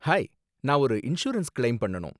Hi, நான் ஒரு insurance claim பண்ணனும்.